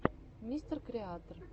мистер креатор